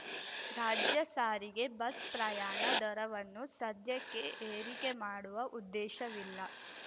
ರಾಜ್ಯ ಸಾರಿಗೆ ಬಸ್ ಪ್ರಯಾಣ ದರವನ್ನು ಸದ್ಯಕ್ಕೆ ಏರಿಕೆ ಮಾಡುವ ಉದ್ದೇಶವಿಲ್ಲ